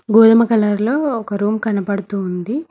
గోధుమ కలర్ లో ఒక రూమ్ కనబడుతుంది.